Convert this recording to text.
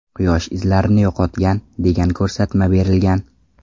Quyosh izlarni yo‘qotgan, degan ko‘rsatma berilgan.